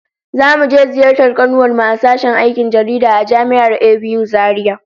Zamu je ziyartar kanuwar mu a sashen aikin jaridah a Jami'ar ABU Zaria